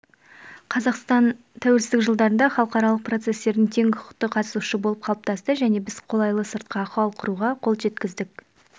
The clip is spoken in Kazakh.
қазақстан тәуелсіздік жылдарында халықаралық процестердің тең құқықты қатысушысы болып қалыптасты және біз қолайлы сыртқы ахуал құруға қол жеткіздік